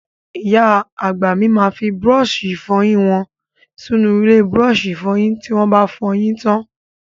Ìyá àgbà mi máa fi búrọ́ọ̀ṣì ìfọyín wọn sínú ilé búrọ́ọ̀ṣì ìfọyín tí wọ́ ba fọyín tán.